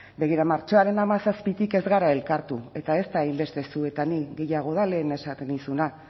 begira martxoaren hamazazpitik ez gara elkartu eta ez da hainbeste zu eta ni gehiago da lehen esaten nizuna